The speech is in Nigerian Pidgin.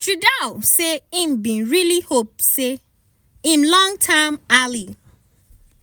trudeau say e bin really hope say im long term ally